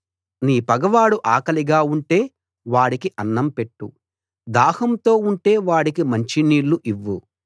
నీ పగవాడు ఆకలిగా ఉంటే వాడికి అన్నం పెట్టు దాహంతో ఉంటే వాడికి మంచినీళ్ళు ఇవ్వు